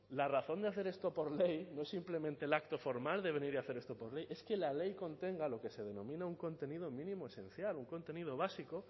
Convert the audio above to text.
la razón de hacer esto por ley no es simplemente el acto formal de venir a hacer esto por ley es que la ley contenga lo que se denomina un contenido mínimo esencial un contenido básico